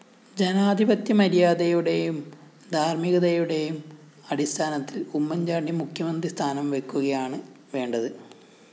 ജനാധിപത്യമര്യാദയുടെയും ധാര്‍മികതയുടെയും അടിസ്ഥാനത്തില്‍ ഉമ്മന്‍ചാണ്ടി മുഖ്യമന്ത്രിസ്ഥാനംവെക്കുകയാണ്‌ വേണ്ടത്‌